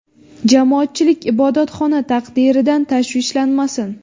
Jamoatchilik ibodatxona taqdiridan tashvishlanmasin.